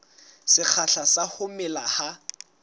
sekgahla sa ho mela ha